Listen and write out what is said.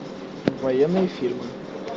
военные фильмы